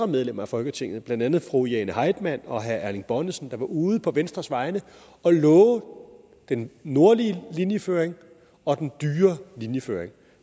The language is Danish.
medlemmer af folketinget blandt andet fru jane heitmann og herre erling bonnesen der var ude på venstres vegne og love den nordlige linjeføring og den dyre linjeføring